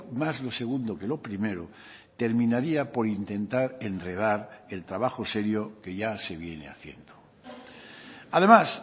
más lo segundo que lo primero terminaría por intentar enredar el trabajo serio que ya se viene haciendo además